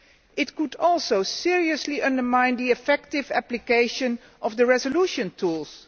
It could also seriously undermine the effective application of the resolution tools.